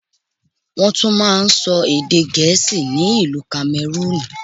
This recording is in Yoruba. Wọ́n tún máa ń sọ èdè Gẹ̀ẹ́sì ni ìlú Kamẹrúùnù.